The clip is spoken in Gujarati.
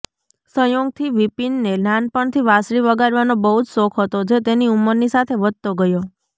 સંયોગથી વિપિનને નાનપણથી વાંસળી વગાડવાનો બહુ જ શોખ હતો જે તેની ઉંમરની સાથે વધતો ગયો